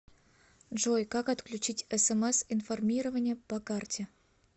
джой как отключить смс информирование по карте